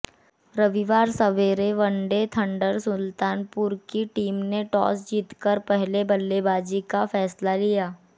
रविवार सवेरे one day thunder Sultanpur की टीम ने टॉस जीतकर पहले बल्लेबाजी का फैसला लिया